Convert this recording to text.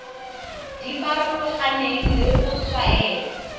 di farologaneng le go tshwaela